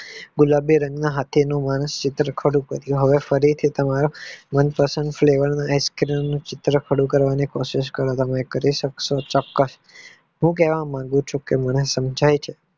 ગુલાબી રંગના હાથી ના હાથી નું માણસ ચિત્ર કરી શકે હવે ફરીથી હવે ice cream ના ચિત્ર નું process કારો તમે કરી સક્સો ચોક્કસ હું કહેવા માંગુ છું કે મને સમજાવી